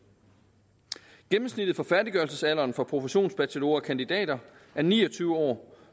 gennemsnittet for færdiggørelsesalderen for professionsbachelorer og kandidater er ni og tyve år